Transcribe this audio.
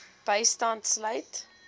bystand sluit